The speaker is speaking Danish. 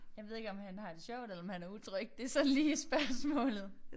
Jeg ved ikke om han har det sjovt eller om han er utryg det sådan lige spørgsmålet